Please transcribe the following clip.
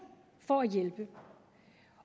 for at hjælpe